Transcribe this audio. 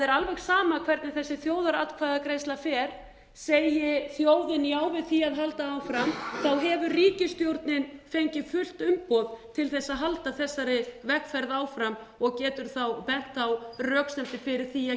alveg sama hvernig þessi þjóðaratkvæðagreiðsla fer segi þjóðin já við því að halda áfram hefur ríkisstjórnin fengið fullt umboð til þess að halda þessari vegferð áfram og getur þá bent á röksemdir fyrir því að